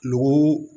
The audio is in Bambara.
Nugu